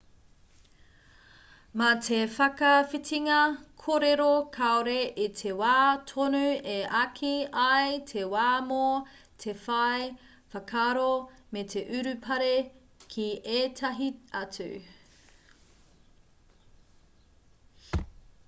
mā te whakawhitinga kōrero kāore i te wā tonu e āki ai te wā mō te whai whakaaro me te urupare ki ētahi atu